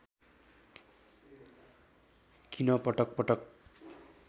किन पटक पटक